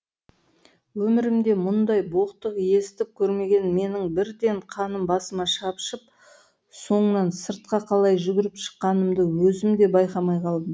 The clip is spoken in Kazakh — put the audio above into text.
өмірімде мұндай боқтық естіп көрмеген менің бірден қаным басыма шапшып соңынан сыртқа қалай жүгіріп шыққанымды өзім де байқамай қалдым